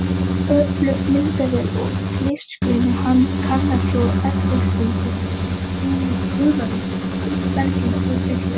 Öflug myndavél og litrófsgreinir kannar svo efnasamsetninguna þess sem gufaði upp af berginu úr fjarlægð.